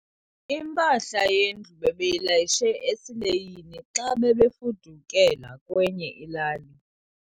Impahla yendlu bebeyilayishe esileyini xa bebefudukela kwenye ilali.